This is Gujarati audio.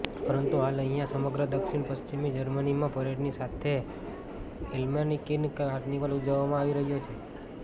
પરંતુ હાલ અહીંયા સમગ્ર દક્ષિણ પશ્વિમી જર્મનીમાં પરેડની સાથે અલ્મેનિક કાર્નિવલ ઊજવવામાં આવી રહ્યો છે